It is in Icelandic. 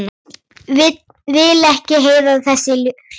Vil ekki heyra þessi hljóð.